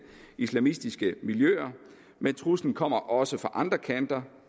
islamistiske miljøer men truslen kommer også fra andre kanter